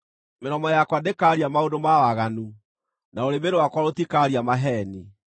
mĩromo yakwa ndĩkaaria maũndũ ma waganu, na rũrĩmĩ rwakwa rũtikaaria maheeni.